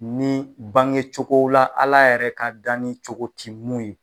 Ni bange cogo la Ala yɛrɛ ka dan ni cogo ti mun ye